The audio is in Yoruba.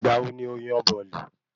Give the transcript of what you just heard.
Ìgbà wo ni o yan bọ̀ọ̀lì?